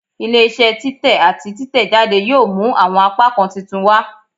Ile-iṣẹ titẹ ati titẹjade yoo mu awọn apakan titun wa